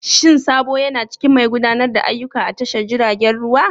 Shin Sabo yana cikin mai gudanar da ayyuka a tashar jiragen ruwa?